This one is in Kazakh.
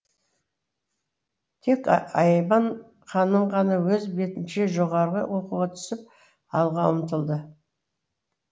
тек айман ханым ғана өз бетінше жоғарғы оқуға түсіп алға ұмтылды